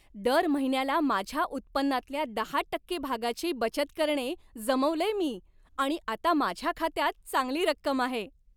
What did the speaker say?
दर महिन्याला माझ्या उत्पन्नातल्या दहा टक्के भागाची बचत करणे जमवलेय मी आणि आता माझ्या खात्यात चांगली रक्कम आहे.